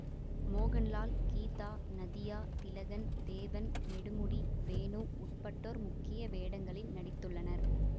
மோகன்லால் கீதா நதியா திலகன் தேவன் நெடுமுடி வேணு உட்பட்டோர் முக்கிய வேடங்களில் நடித்துள்ளனர்